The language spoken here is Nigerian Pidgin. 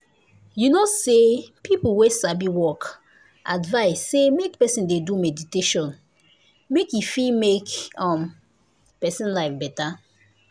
you know say people wey sabi work advice say make person dey do meditation make e fit make um person life better.